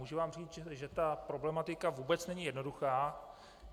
Můžu vám říct, že ta problematika vůbec není jednoduchá.